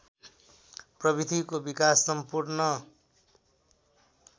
प्रविधिको विकास सम्पूर्ण